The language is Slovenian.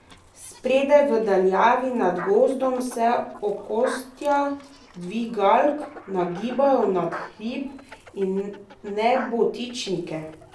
Spredaj, v daljavi nad gozdom, se okostja dvigalk nagibajo nad hrib in nebotičnike.